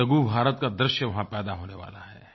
एक लघु भारत का दृश्य वहाँ पैदा होने वाला है